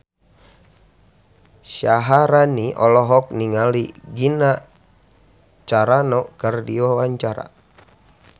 Syaharani olohok ningali Gina Carano keur diwawancara